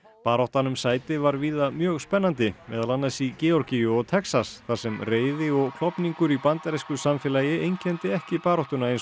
baráttan um sæti var víða mjög spennandi meðal annars í Georgíu og Texas þar sem reiði og klofningur í bandarísku samfélagi einkenndi ekki baráttuna eins